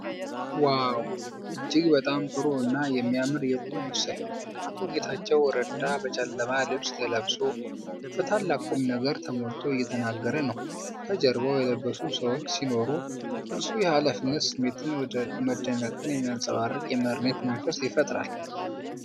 ዋው! እጅግ በጣም ጥሩ እና የሚያምር የቁም ምስል! አቶ ጌታቸው እረዳ በጨለማ ልብስ ለብሶ፣ በታላቅ ቁምነገር ተሞልቶ እየተናገረ ነው። ከጀርባው የለበሱ ሰዎች ሲኖሩ፣ እርሱ የኃላፊነት ስሜትንና መደነቅን የሚያንጸባርቅ የመሪነት መንፈስ ይፈጥራል።